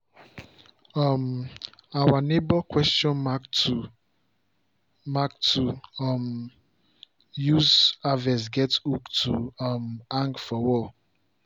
um our neighbour question mark tool mark tool to um use harvest get hook to um hang for wall